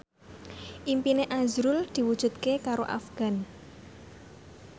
impine azrul diwujudke karo Afgan